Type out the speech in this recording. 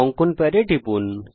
অঙ্কন প্যাডে টিপুন